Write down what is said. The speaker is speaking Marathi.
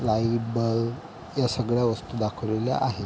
लाहव अ ब ह्या सगळ्या वस्तु दाखवलेल्या आहे.